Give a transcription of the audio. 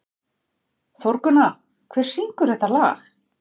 Þórgunna, hver syngur þetta lag?